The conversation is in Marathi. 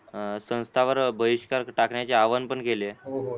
संस्थावर बहिष्कार टाकण्याचे आवाहन पण केले.